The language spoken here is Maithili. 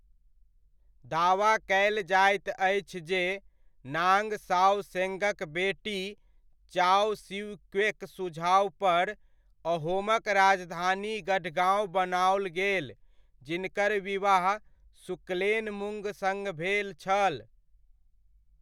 दावा कयल जाइत अछि जे नाङ्ग साओ सेंगक बेटी, चाओ सिउ क्वेक सुझावपर अहोमक राजधानी गढगाँव बनाओल गेल जिनकर विवाह सुक्लेनमुंग सङ्ग भेल छल।